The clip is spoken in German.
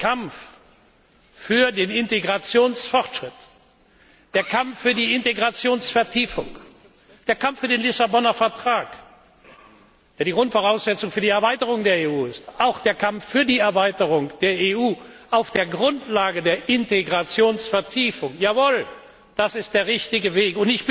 Der Kampf für den Integrationsfortschritt, der Kampf für die Integrationsvertiefung, der Kampf für den Lissabonner Vertrag, der die Grundvoraussetzung für die Erweiterung der EU ist, auch der Kampf für die Erweiterung der EU auf der Grundlage der Integrationsvertiefung jawohl, das ist der richtige Weg.